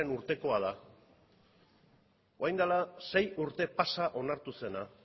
urtekoa da orain dela sei urte pasa onartuzena